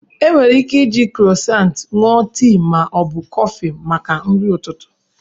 E nwere ike iji krosant ṅụọ tii ma ọ bụ kọfị maka nri ụtụtụ.